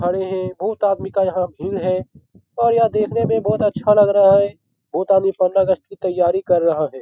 खड़े है बहुत अदमी का यहाँ भीड़ है और यह देखने में बहुत अच्छा लग रहा है बहुत आदमी पंद्रह अगस्त की तैयारी कर रहा है।